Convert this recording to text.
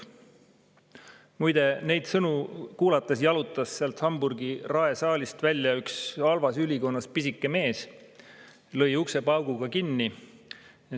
" Muide, neid sõnu kuulates jalutas sealt Hamburgi rae saalist välja üks halvas ülikonnas pisike mees, lõi ukse pauguga kinni.